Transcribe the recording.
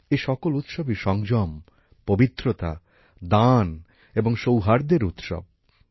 এ সকল উৎসবই সংযম পবিত্রতা দান এবং সৌহার্দ্যের উৎসব